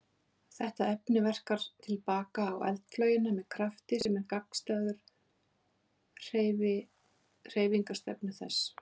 Þetta efni verkar til baka á eldflaugina með krafti sem er gagnstæður hreyfingarstefnu þess.